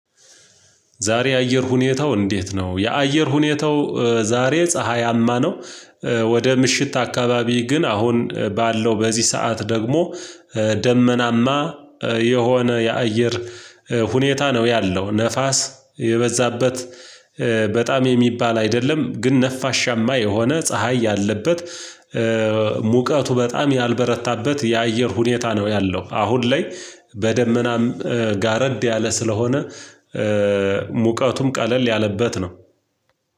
ዛሬ የአየር ሁኔታው እንዴት ነው? የአየር ሁኔታው ዛሬ ፀሀያማ ነው። ወደ ምሽት አካባቢ ግን አሁን ባለው በዚህ ሰዓት ደግሞ ደመናማ የሆነ የአየር ሁኔታ ነው ያለው ነፋስ የበዛበት። በጣም የሚባል አይደለም ግን ነፋሻማ የሆነ ፀሀይ ያለበት። ሙቀቱ በጣም ያልበረታበት የአየር ሁኔታ ነው ያለው አሁን ላይ በደመናም ጋረድ ያለ ስለሆነ ሙቀቱም ቀለል ያለበት ነው።